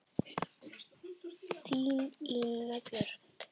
Þín, Ína Björk.